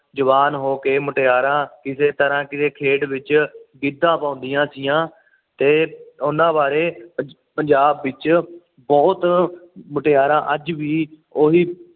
ਜਵਾਨ ਹੋਕੇ ਮੁਟਿਆਰਾਂ ਕਿਸੇ ਤਰਾਂ ਕਿਸੇ ਖੇਡ ਵਿੱਚ ਗਿੱਧਾ ਪਉਂਦੀਆ ਸੀ ਆਂ ਤੇ ਉਹਨਾਂ ਬਾਰੇ ਪੰਜਾਬ ਵਿੱਚ ਬੁਹਤ ਮੁਟਿਆਰਾਂ ਅੱਜ ਵੀ ਉਹੀ